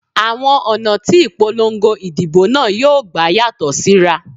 Àwọn ọ̀nà tí ìpolongo ìdìbò náà yóò gbà yàtọ̀ síra